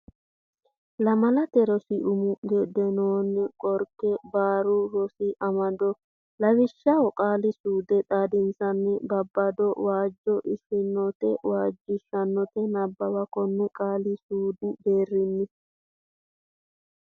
Lamalate Rosi Umo Geedimonna Qorke Barru Rosi Amado Lawishsha Qaali suude xaadisanna babbada waajj ishshannote waajjishshannote Nabbawa konne qaali suudu deerrinni.